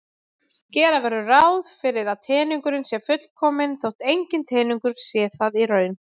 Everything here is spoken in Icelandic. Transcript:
Gera verður ráð fyrir að teningurinn sé fullkominn þótt enginn teningur sé það í raun.